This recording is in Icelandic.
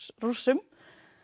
Rússum